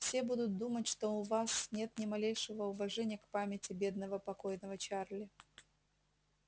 все будут думать что у вас нет ни малейшего уважения к памяти бедного покойного чарли